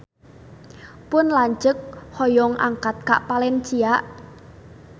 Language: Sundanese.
Pun lanceuk hoyong angkat ka Valencia